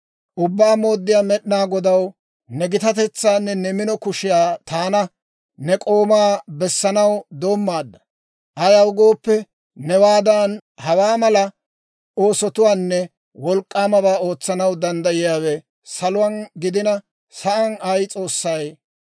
‹Ubbaa Mooddiyaa Med'inaa Godaw, ne gitatetsaanne ne mino kushiyaa taana, ne k'oomaa bessanaw doommaadda; ayaw gooppe, newaadan hawaa mala oosotuwaanne wolk'k'aamabaa ootsanaw danddayiyaawe saluwaan gidina sa'aan ay s'oossay de'ii?